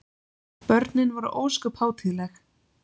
Börnin voru ósköp hátíðleg.